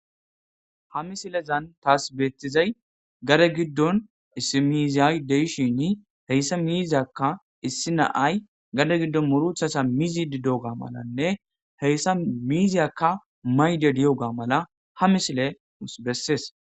Ha misilezan taas beettizay gare giddon issimiiziyay deishini heyssa miiziyakka issi naay gade giddon muruthasa mizi didoga malanne heyssa miiziyakka mayde diyoga mala ha misile bessees.